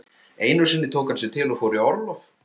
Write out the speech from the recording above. Einu sinni tók hann sig til og fór í orlof.